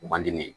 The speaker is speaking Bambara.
Man di ne ye